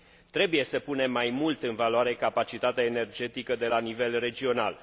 Trebuie să punem mai mult în valoare capacitatea energetică de la nivel regional.